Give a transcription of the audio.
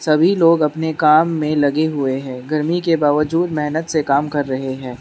सभी लोग अपने काम में लगे हुए हैं गर्मी के बावजूद मेहनत से काम कर रहे हैं।